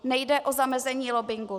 Nejde o zamezení lobbingu.